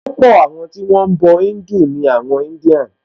Púpọ̀ àwọn tí wọ́n ń bọ̀ Híńdù ni àwọn India